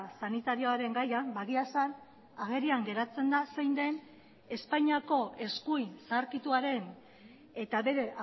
sanitarioaren gaian egia esan agerian geratzen da zein den espainiako eskuin zaharkituaren eta bere